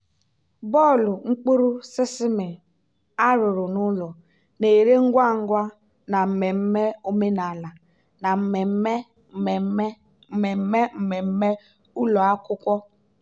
bọọlụ mkpụrụ sesame arụrụ n'ụlọ na-ere ngwa ngwa na mmemme omenala na mmemme mmemme mmemme mmemme ụlọ akwụkwọ.